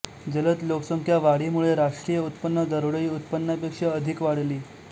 जलद लोकसंख्या वाढीमुळे राष्ट्रीय उत्पन्न दरडोई उत्पन्नापेक्षा अधिक वाढली